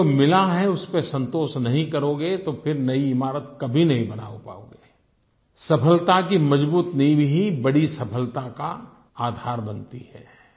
लेकिन जो मिला है उस पर संतोष नहीं करोगे तो फिर नयी इमारत कभी नहीं बना पाओगेI सफलता की मजबूत नींव ही बड़ी सफलता का आधार बनती है